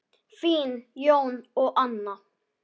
Þín, Jón og Anna.